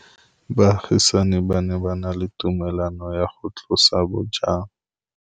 Baagisani ba ne ba na le tumalanô ya go tlosa bojang.